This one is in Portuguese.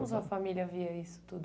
Como sua família via isso tudo?